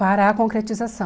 Para a concretização.